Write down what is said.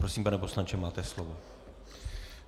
Prosím, pane poslanče, máte slovo.